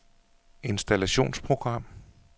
installationsprogram